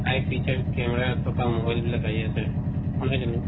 eye fitted camera হেতো কাম হল বিলাক আহি আছে হয়নে জানো